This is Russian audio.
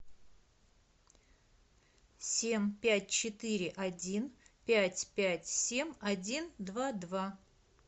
семь пять четыре один пять пять семь один два два